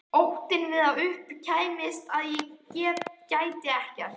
Óttinn við að upp kæmist að ég gæti ekkert.